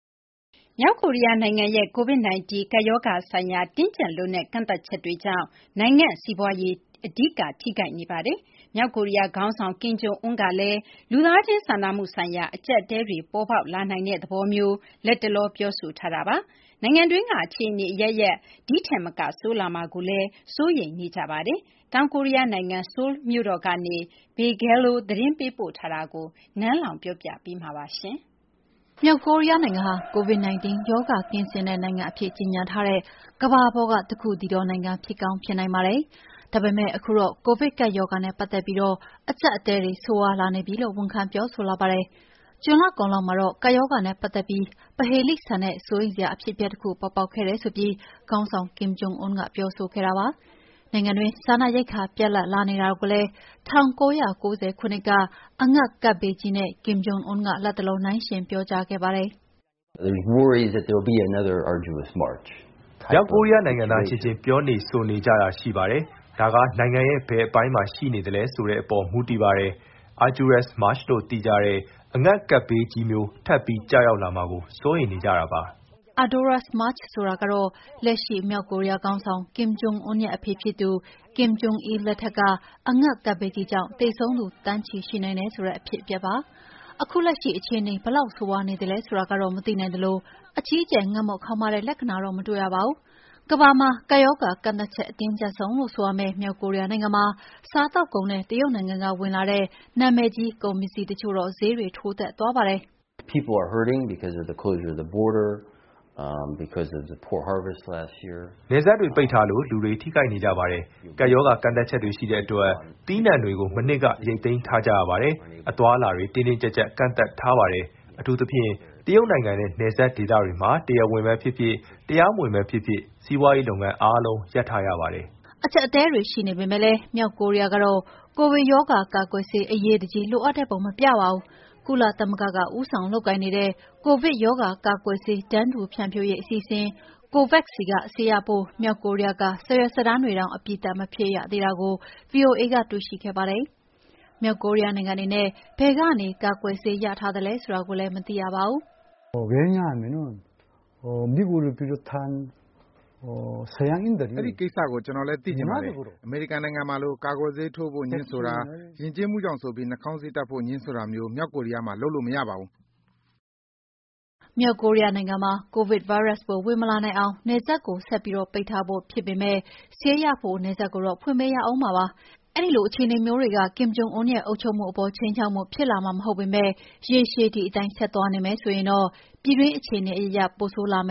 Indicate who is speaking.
Speaker 1: မြောက်ကိုရီးယားနိုင်ငံရဲ့ COVID-19 ကပ်ရောဂါဆိုင်ရာ တင်းကျပ်လွန်းတဲ့ ကန့်သတ်ချက်တွေက နိုင်ငံ့စီးပွားရေးကို အဓိက ထိခိုက်နေပါတယ်။ မြောက်ကိုရီးယားခေါင်းဆောင် Kim Jong Un ကလည်း လူသားချင်းစာနာမှုဆိုင်ရာ အကျပ်အတည်းတွေ ပေါ်ပေါက်လာနိုင်တဲ့သဘောမျိုး လတ်တလော ပြောဆိုထားတာပါ။ နိုင်ငံတွင်းက အခြေအနေအရပ်ရပ် ဒီထက်မက ဆိုးလာမှာကိုလည်း ပြည်သူတွေကြား စိုးရိမ်မှုတွေ ရှိနေကြပါတယ်။ တောင်ကိုရီးယားနိုင်ငံ ဆိုးလ်မြို့ကနေ Bill Gallo သတင်းပေးပို့ထားတာကို နန်းလောင်ဝ်က တင်ပြထားပါတယ်။ မြောက်ကိုရီးယားနိုင်ငံဟာ
Speaker 2: COVID-19 ရောဂါကင်းစင်တဲ့ နိုင်ငံအဖြစ် ကြေညာထားတဲ့ ကမ္ဘာပေါ်က တခုတည်းသောနိုင်ငံ ဖြစ်ကောင်းဖြစ်နိုင်ပါတယ်။ ဒါပေမယ့် ခုတော့ ကိုဗစ်ကပ်ရောဂါနဲ့ ပတ်သက်ပြီး အကျပ်အတည်းတွေ ဆိုးရွားလာနေပြီလို့ ဝန်ခံ ပြောဆိုလာပါတယ်။ ဇွန်လကုန်လောက်မှာတော့ ကပ်ရောဂါနဲ့ပတ်သက်ပြီး ပဟေဠိဆန်တဲ့ စိုးရိမ်စရာ အဖြစ်အပျက်တခု ပေါ်ပေါက်ခဲ့တယ်ဆိုပြီး ခေါင်းဆောင် Kim Jong Un က ပြောဆိုခဲ့ပါတယ်။ နိုင်ငံတွင်း စားနပ်ရိက္ခာ ပြတ်လပ်လာနေတာကိုလည်း ၁၉၉၀ ခုနှစ်က အငတ်ဘေးကြီးနဲ့ Kim Jong Un က လတ်တလော နှိုင်းယှဉ် ပြောကြားခဲ့ပါတယ်။
Speaker 3: “မြောက်ကိုရီးယားနိုင်ငံသားတွေကြားမှာ ပြောဆိုနေတာ ရှိပါတယ်။ ဒါက နိုင်ငံရဲ့ ဘယ်အပိုင်းမှာ ရှိနေသလဲဆိုတဲ့အပေါ် မူတည်ပါတယ်။ ‘Arduous March’ လို့သိကြတဲ့ အငတ်ကပ်ဘေးကြီးမျိုး ထပ်ပြီး ကျရောက်လာမှာကို စိုးရိမ်နေကြပါတယ်
Speaker 2: ။” “Arduous March” ဆိုတာကတော့ လက်ရှိ မြောက်ကိုရီးယားခေါင်းဆောင် Kim Jong Un ရဲ့ အဖေဖြစ်သူ Kim Jon Il လက်ထက်က အငတ်ကပ်ဘေးကြီးကြောင့် သေဆုံးသူ သန်းချီ ရှိနိုင်တယ်ဆိုတဲ့ အဖြစ်အပျက်ပါ။ ခုလက်ရှိ အခြေအနေ ဘယ်လောက်ဆိုးရွားနေသလဲ ဆိုတာကတော့ မသိနိုင်သလို အကြီးအကျယ် ငတ်မွတ်ခေါင်းပါးတဲ့ လက္ခဏာလည်း မတွေ့ရပါဘူး။ ကမ္ဘာမှာ ကပ်ရောဂါကန့်သတ်ချက် အတင်းကျပ်ဆုံးလို့ ဆိုရမယ့် မြောက်ကိုရီးယားနိုင်ငံမှာ စားသောက်ကုန်နဲ့ တရုတ်နိုင်ငံကလာတဲ့ နာမည်ကြီးကုန်ပစ္စည်းတချို့ ဈေးထိုးတက်သွားပါတယ်။
Speaker 3: “နယ်စပ်တွေ ပိတ်ထားတဲ့အတွက် လူတွေ ထိခိုက်နေကြပါတယ်။ ကပ်ရောဂါ ကန့်သတ်ချက်တွေ ရှိနေတဲ့အတွက် သီးနှံတွေကို မနှစ်က ရိတ်သိမ်းထားကြရတယ်။ အသွားအလာတွေက တင်းတင်းကျပ်ကျပ် ကန့်သတ်ထားပါတယ်။ အထူးသဖြင့် တရုတ်နိုင်ငံနဲ့ နယ်စပ်ဒေသတွေမှာ တရားဝင်ပဲဖြစ်ဖြစ်၊ တရားမဝင်တာပဲဖြစ်ဖြစ် စီးပွားရေးလုပ်ငန်းအားလုံး ရပ်ထားရပါတယ်။
Speaker 2: " အကျပ်အတည်းတွေ ရှိနေပေမယ့်လည်း မြောက်ကိုရီးယားကတော့ ကိုဗစ်ရောဂါ ကာကွယ်ဆေး အရေးတကြီး လိုအပ်တဲ့ပုံ မပြပါဘူး။ ကုလသမဂ္ဂက ဦးဆောင်လုပ်ကိုင်နေတဲ့ ကိုဗစ်ရောဂါကာကွယ်ဆေး တန်းတူဖြန့်ဖြူးရေး အစီအစဉ် COVAX ဆီက ဆေးရဖို့ မြောက်ကိုရီးယားက စာရွက်စာတမ်းတွေတောင် အပြီးသတ် မဖြည့်ရသေးတာကို ဗွီအိုအေက တွေ့ရှိခဲ့ပါတယ်။ မြောက်ကိုရီးယားနိုင်ငံအနေနဲ့ ဘယ်ကနေ ကာကွယ်ဆေးရထားသလဲ ဆိုတာကိုလည်း မသိရပါဘူး။ “အဲဒီကိစ္စ
Speaker 3: ကို ကျနော်လည်း သိချင်ပါတယ်။ အမေရိကန်နိုင်ငံမှာလို ကာကွယ်ဆေးထိုးဖို့ ငြင်းဆိုတာ၊ ယဉ်ကျေးမှုကြောင့်ဆိုပြီး နှာခေါင်းစည်းတပ်ဖို့ ငြင်းဆိုတာမျိုး မြောက်ကိုရီးယားနိုင်ငံမှာ လုပ်လို့မရပါဘူး
Speaker 2: ။” မြောက်ကိုရီးယားနိုင်ငံမှာ ကိုဗစ်ဗိုင်းရပ်စ်ပိုး ဝင်မလာနိုင်အောင် နယ်စပ်ကို ဆက်ပြီး ပိတ်ထားဖို့ ဖြစ်ပေမယ့် ဆေးရဖို့ နယ်စပ်ကိုတော့ ဖွင့်ပေးရမှာပါ။ အဲဒီလိုအခြေအနေမျိုးတွေက Kim Jong Un ရဲ့ အုပ်ချုပ်မှုအပေါ် ခြိမ်းခြောက်မှုဖြစ်လာမှာ မဟုတ်ပေမယ့် ရေရှည် ဒီအတိုင်းသွားနေမယ် ဆိုရင်တော့ ပြည်တွင်းအခြေအနေအရပ်ရပ် ပိုဆိုးလာမ